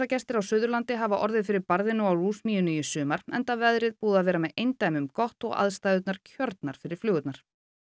á Suðurlandi hafa orðið fyrir barðinu á lúsmýinu í sumar enda veðrið búið að vera með eindæmum gott og aðstæður kjörnar fyrir flugurnar